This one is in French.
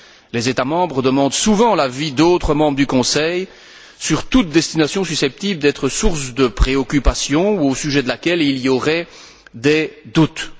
Les États membres demandent souvent l'avis d'autres membres du Conseil sur toute destination susceptible d'être source de préoccupations ou au sujet de laquelle il y aurait des doutes.